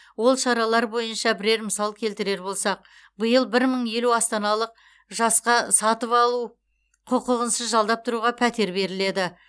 ол шаралар бойынша бірер мысал келтірер болсақ биыл бір мың елу астаналық жасқа сатып алу құқығынсыз жалдап тұруға пәтер беріледі